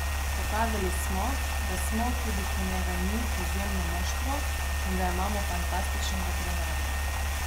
Pokazali smo, da smo, tudi ko njega ni, izjemno moštvo, in da imamo fantastičnega trenerja!